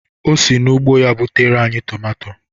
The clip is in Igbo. O si n'ugbo ya butere anyị tomato